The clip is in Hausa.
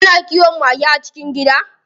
Ana kiwon mage a cikin gida.